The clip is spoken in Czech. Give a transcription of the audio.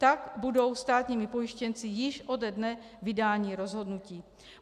Tak budou státními pojištěnci již ode dne vydání rozhodnutí.